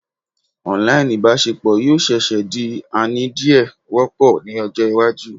online ibaṣepọ yoo seese di ani diẹ wopo ni ojo iwaju